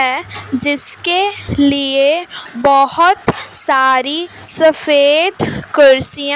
है जिसके लिए बहोत सारी सफेद कुर्सियां--